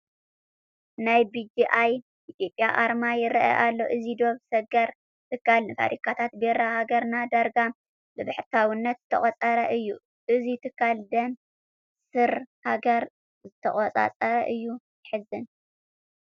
ናይ ቢ.ጂ.ኣይ. ኢትዮጵያ ኣርማ ይርአ ኣሎ፡፡ እዚ ዶብ ሰገር ትካል ንፋብሪካታት ቢራ ሃገርና ዳርጋ ብብሕታውነት ዝተቖፃፀረ እዩ፡፡ እዚ ትካል ደም ስር ሃገር ዝተቖፃፀረ እዩ፡፡ የሕዝን፡፡